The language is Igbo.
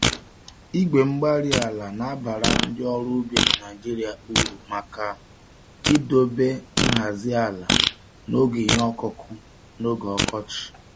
Igwe-mgbárí-ala nabara ndị ọrụ ubi na Nigeria uru maka idobe nhazi ala n'oge ihe ọkụkụ n'oge ọkọchị